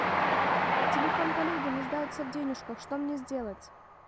телефон коллеги нуждается в денежках что мне сделать